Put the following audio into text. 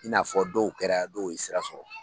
I n'a fɔ dɔw kɛra dɔw ye sira sɔrɔ.